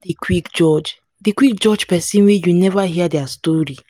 quick judge dey quick judge pesin wey you neva hear dia story.